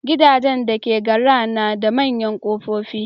Gidajen dake GRA na da manyan kofofi.